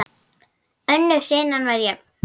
Önnur hrinan var jöfn.